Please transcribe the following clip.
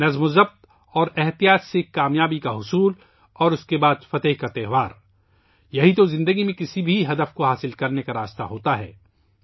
نظم و ضبط اور تحمل کے ذریعے کامیابی کا حصول اور اس کے بعد فتح کا تہوار، زندگی میں کسی بھی مقصد کو حاصل کرنے کا واحد ذریعہ ہے